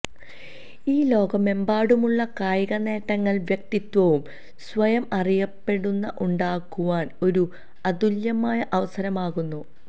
ഈ ലോകമെമ്പാടുമുള്ള കായിക നേട്ടങ്ങൾ വ്യക്തിത്വവും സ്വയം അറിയപ്പെടുന്ന ഉണ്ടാക്കുവാൻ ഒരു അതുല്യമായ അവസരമാകുന്നു